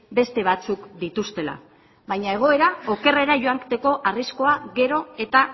beste batzuk dituztela baina egoera okerrera joateko arriskua gero eta